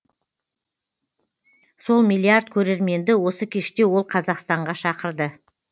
сол миллиард көрерменді осы кеште ол қазақстанға шақырды